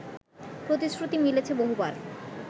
প্রতিশ্রুতি মিলেছে বহুবার